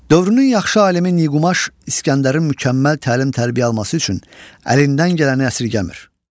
Dövrünün yaxşı alimi Niqumaş İsgəndərin mükəmməl təlim-tərbiyə alması üçün əlindən gələni əsirgəmir.